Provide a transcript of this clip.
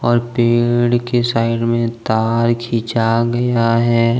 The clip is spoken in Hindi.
और पेड़ के साइड में तार खींचा गया है।